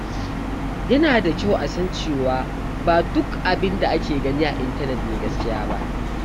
Yana da kyau a san cewa ba duk abin da ake gani a intanet ne gaskiya ba.